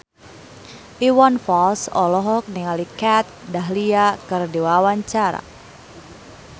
Iwan Fals olohok ningali Kat Dahlia keur diwawancara